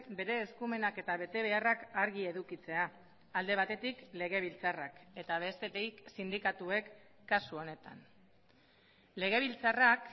bere eskumenak eta betebeharrak argi edukitzea alde batetik legebiltzarrak eta bestetik sindikatuek kasu honetan legebiltzarrak